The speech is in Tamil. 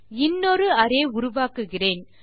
இன்னொரு அரே உருவாக்குகிறேன்